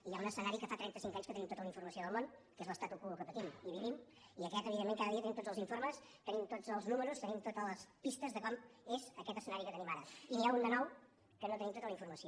i hi ha un escenari que fa trenta cinc anys que en tenim tota la informació del món que és l’statu quo que patim i vivim i aquest evidentment cada dia tenim tots els informes tenim tots els números tenim totes les pistes de com és aquest escenari que tenim ara i n’hi ha un de nou del qual no tenim tota la informació